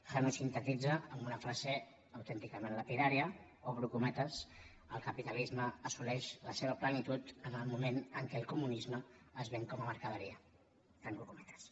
han ho sintetitza amb una frase autènticament lapidària obro cometes el ca·pitalisme assoleix la seva plenitud en el moment en què el comunisme es ven com a mercaderia tanco cometes